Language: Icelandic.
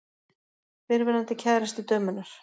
Fyrrverandi kærasti dömunnar.